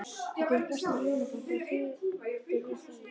Það kemur brestur í hjónabandið og hriktir í því.